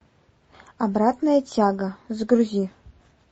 обратная тяга загрузи